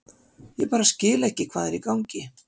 Ég bara skil ekki hvað er í gangi.